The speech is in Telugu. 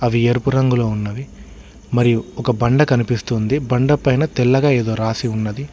అవి ఎరుపు రంగులో ఉన్నవి మరియు ఒక బండ కనిపిస్తుంది బండ పైన తెల్లగ ఎదో రాసి ఉన్నది.